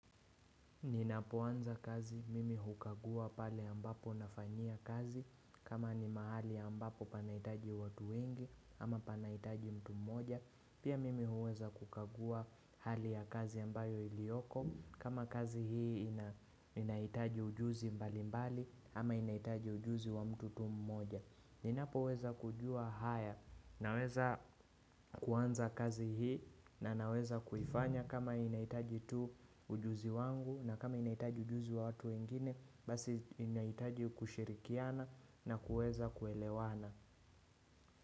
Ninapoanza kazi mimi hukagua pale ambapo nafanyia kazi kama ni mahali ambapo panahitaji watu wengi ama panahitaji mtu mmoja. Pia mimi huweza kukagua hali ya kazi ambayo ilioko kama kazi hii inahitaji ujuzi mbali mbali ama inahitaji ujuzi wa mtu tu mmoja. Ninapo weza kujua haya na weza kuanza kazi hii na na weza kuifanya kama inahitaji tu ujuzi wangu na kama inahitaji ujuzi wa watu wengine basi inahitaji kushirikiana na kuweza kuelewana.